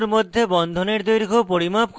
carbon পরমাণুর মধ্যে বন্ধনের দৈর্ঘ্য পরিমাপ করে